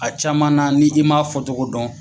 A caman na ni i m'a fɔ cogo dɔn